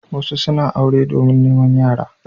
Wasu suna aure domin neman yara.